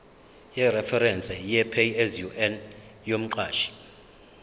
yereferense yepaye yomqashi